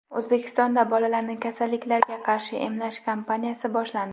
O‘zbekistonda bolalarni kasalliklarga qarshi emlash kampaniyasi boshlandi.